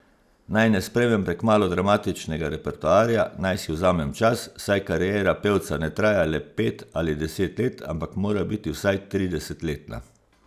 Naj ne sprejmem prekmalu dramatičnega repertoarja, naj si vzamem čas, saj kariera pevca ne traja le pet ali deset let, ampak mora biti vsaj tridesetletna.